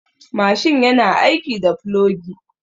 Mashin yana aiki da plogi.